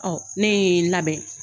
Ɔ ne ye n labɛn.